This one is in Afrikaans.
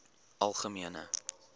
algemene